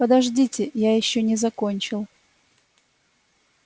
подождите я ещё не закончил